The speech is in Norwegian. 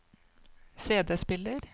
CD-spiller